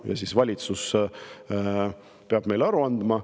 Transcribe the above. Ja valitsus peab meile aru andma.